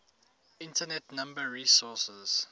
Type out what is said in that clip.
internet number resources